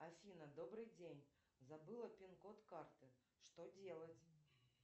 афина добрый день забыла пин код карты что делать